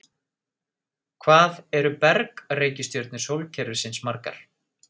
Hvað eru berg-reikistjörnur sólkerfisins margar?